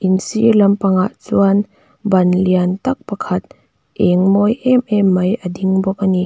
in sir lampang ah chuan ban lian tak pakhat eng mawi em em mai a ding bawk ani.